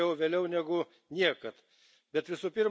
Bet, kaip sakoma, geriau vėliau negu niekada.